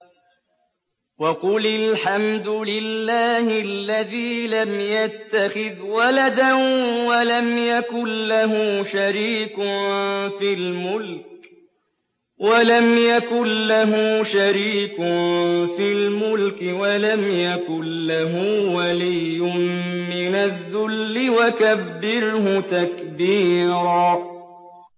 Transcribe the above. وَقُلِ الْحَمْدُ لِلَّهِ الَّذِي لَمْ يَتَّخِذْ وَلَدًا وَلَمْ يَكُن لَّهُ شَرِيكٌ فِي الْمُلْكِ وَلَمْ يَكُن لَّهُ وَلِيٌّ مِّنَ الذُّلِّ ۖ وَكَبِّرْهُ تَكْبِيرًا